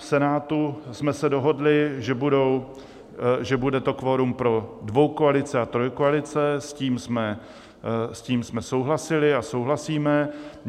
V Senátu jsme se dohodli, že bude to kvorum pro dvojkoalice a trojkoalice, s tím jsme souhlasili a souhlasíme.